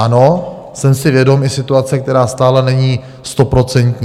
Ano jsem si vědom i situace, která stále není stoprocentní.